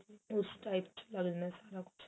ਉਸ type ਚ ਲਾ ਲੈਣੇ ਏ ਸਭ ਚ